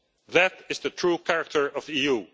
inmates. That is the true character of